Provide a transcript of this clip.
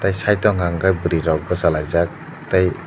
side o hwnka hwnkhe bwrwi rok bwchalaijak tei.